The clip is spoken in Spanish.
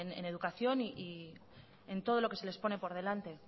en educación y en todo lo que se les pone por delante